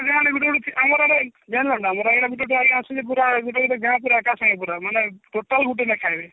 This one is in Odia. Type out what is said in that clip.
ଗୁଟେ ଗୁଟେ ଆମର ଆଜ୍ଞା ଅଛନ୍ତି ପୁରା ଗୁଟେ ଗୁଟେ ଗାଁ ପୁରା ଏକା ସାଙ୍ଗରେ ପୁରା ମାନେ ଟୁଟାଲ ଗୁଟେ ଖାଇବେ